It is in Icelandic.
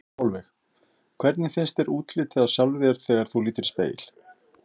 Sólveig: Hvernig finnst þér útlitið á sjálfri þér þegar þú lítur í spegil?